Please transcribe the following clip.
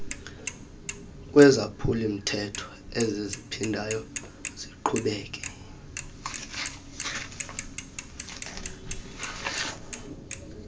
wezaphulamthetho eziziphindayo siqhubeke